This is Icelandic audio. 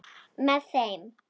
Með þeim